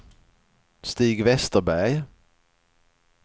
Stig Vesterberg